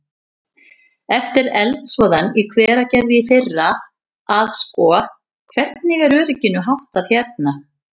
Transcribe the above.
Eftir eldsvoðann í Hveragerði í fyrra að sko, hvernig er örygginu háttað hérna?